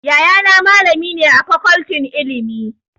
Yayana malami ne a Fakoltin Ilimi.